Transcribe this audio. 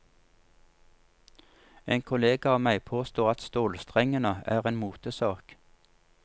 En kollega av meg påstår at stålstrengene er en motesak.